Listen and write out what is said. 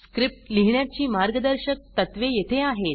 script लिहिण्याची मार्गदर्शक तत्त्वे येथे आहेत